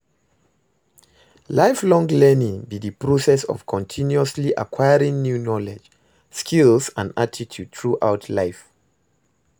Lifelong learning be di process of continuously acquiring new knowledge, skills and attitude throughout life.